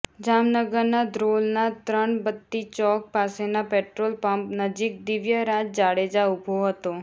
જામનગરના ધ્રોલના ત્રણબત્તી ચોક પાસેના પેટ્રોલપંપ નજીક દિવ્યરાજ જાડેજા ઉભો હતો